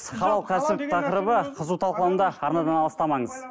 халал кәсіп тақырыбы қызу талқылануда арнадан алыстамаңыз